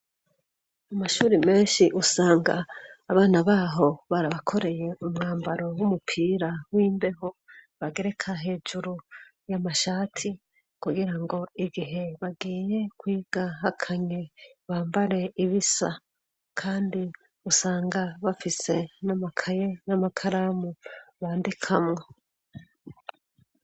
Amashuri menshi usanga abana baho barabakoreye umwambaro w'umupira w'imbeho bagereka hejuru y'amashati kugira ngo igihe bagiye kwiga hakanye bambare ibisa kandi usanga bafise n'amakaye n'amakaramu bandikamwo.